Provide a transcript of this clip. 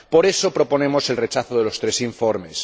Por eso, proponemos el rechazo de los tres informes.